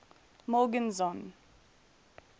morgenzon